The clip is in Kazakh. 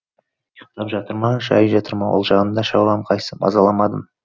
ұйықтап жатыр ма жай жатыр ма ол жағында шаруам қайсы мазаламадым